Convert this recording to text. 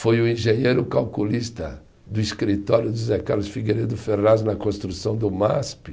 Foi o engenheiro calculista do escritório do José Carlos Figueiredo Ferraz na construção do Masp.